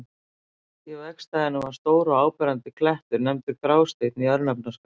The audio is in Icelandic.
Í vegstæðinu var stór og áberandi klettur, nefndur Grásteinn í örnefnaskrá.